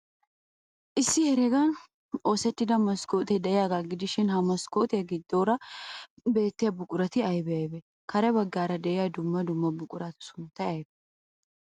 Issi heregan oosettida maskkootee de'iyaagaa gidishin, he maskkootiyaa giddoora beettiyaa buqurati aybee aybee? Kare baggaara de'iya dumma dumma buquratu sunttay aybee?